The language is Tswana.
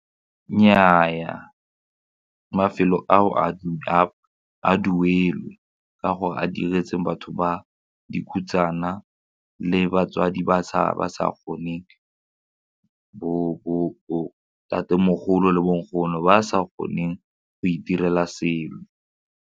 Nnyaa, mafelo ao a duelwe ka gore a diretsweng batho ba dikhutsana le batswadi ba ba sa kgoneng bo ntatemogolo le bonkgono ba sa kgoneng go itirela selo.